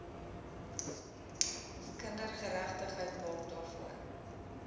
kindergeregtigheid maak daarvoor